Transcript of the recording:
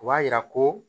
O b'a yira ko